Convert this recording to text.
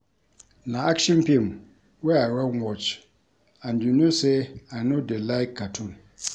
Na action film wey I wan watch and you no say I no dey like cartoon